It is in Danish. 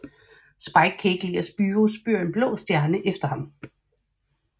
Spike kan ikke lide at Spyro spyr en blå stjerne efter ham